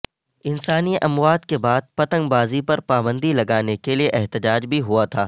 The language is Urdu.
انسانی اموات کے بعد پتنگ بازی پر پابندی لگانے کے لیے احتجاج بھی ہوا تھا